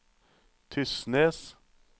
Tysnes